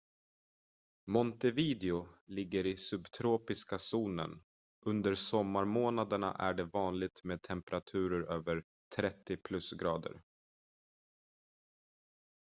montevideo ligger i subtropiska zonen; under sommarmånaderna är det vanligt med temperaturer över +30°c